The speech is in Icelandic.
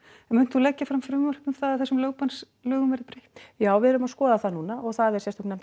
munt þú leggja fram frumvarp um það að þessum lögbannslögum verði breytt já við erum að skoða það núna og það er sérstök nefnd